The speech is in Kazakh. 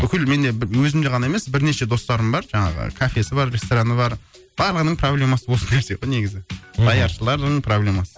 бүкіл менде өзімде ғана емес бірнеше достарым бар жаңағы кафесі бар рестораны бар барлығының проблемасы осы нәрсе ғой негізі даяшылардың проблемасы